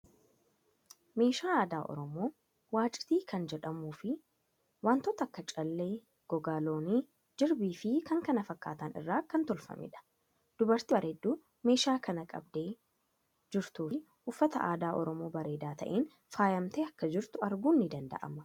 Meeshaa aadaa Oromoo Waciiti kan jedhamuu fii wantoota akka callee, gogaa loonii, jirbii fii k.kf irraa kan tolfameedha. Dubartii barreedduu meedhaa kana qabdee jirtuu fii uffata aadaa Oromoo bareedaa ta'een faayamtee akka jirtu arguun ni danda'ama.